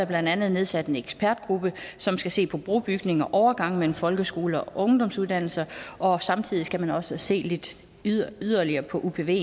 blandt andet nedsat en ekspertgruppe som skal se på brobygning og overgange mellem folkeskoler og ungdomsuddannelser og samtidig skal man også se lidt yderligere yderligere på upven